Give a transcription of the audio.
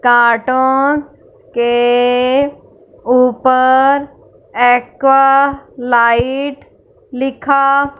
cartoon के ऊपर aqua light लिखा--